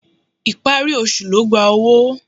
Ìparí oṣù ló gba owó.